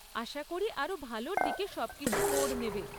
আশা করি আরও ভালোর দিকে সবকিছু মোড় নেবে।